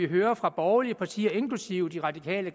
hører fra borgerlige partier inklusive de radikale